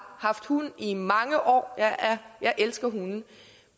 haft hund i mange år og jeg elsker hunde